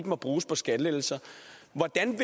må bruges på skattelettelser hvordan